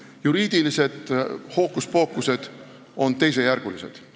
Juriidilised hookuspookused on teisejärgulised.